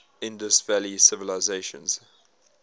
indus valley civilization